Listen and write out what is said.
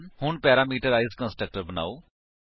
ਹੁਣ parameterised constructor ਬਨਾਓ